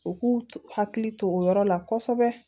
U k'u hakili to o yɔrɔ la kosɛbɛ